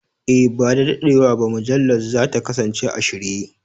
E, ba da daɗewa ba mujallar za ta kasance a shirye.